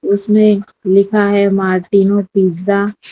उसमें लिखा है मार्टिनोज पिज़्ज़ा ।